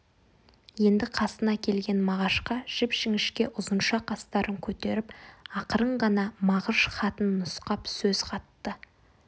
енді қасына келген мағашқа жіп-жіңішке ұзынша қастарын көтеріп ақырын ғана мағыш хатын нұсқап сөз қатты